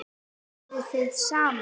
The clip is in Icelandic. Eruð þið saman?